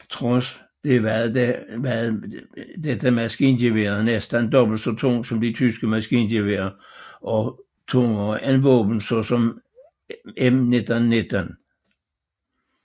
Trods det var dette maskingevær næsten dobbelt så tungt som de tyske maskingeværer og rungere end våben såsom M1919